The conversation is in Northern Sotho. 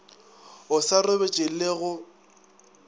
o sa robetše le go